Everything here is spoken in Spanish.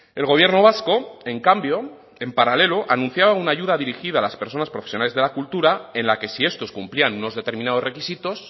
el gobierno vasco en cambio en paralelo anunciaba una ayuda dirigida a las personas profesionales de la cultura en la que si estos cumplían unos determinados requisitos